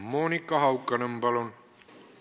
Monika Haukanõmm, palun!